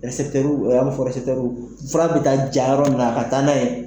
fura bɛ taa ja yɔrɔ min na a ka taa n'a ye yen